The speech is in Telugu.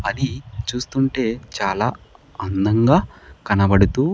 అది చూస్తుంటే చాలా అందంగా కనబడుతూ.